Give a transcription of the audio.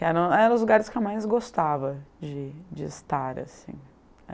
Que era eram os lugares que eu mais gostava de de estar, assim.